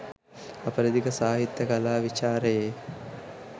අපරදිග සාහිත්‍ය කලා විචාරයේ